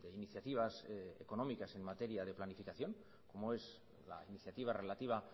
iniciativas económicas en materia de planificación como es la iniciativa relativa